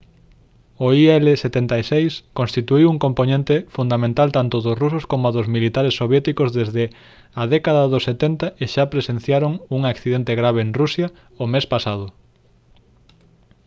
o il-76 constituíu un compoñente fundamental tanto dos rusos coma dos militares soviéticos desde a década dos 70 e xa presenciaron un accidente grave en rusia o mes pasado